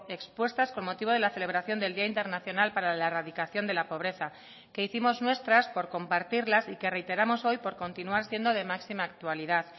expuestas con motivo de la celebración del día internacional para la erradicación de la pobreza que hicimos nuestras por compartirlas y que reiteramos hoy por continuar siendo de máxima actualidad